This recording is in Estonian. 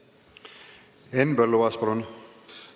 Henn Põlluaas, palun!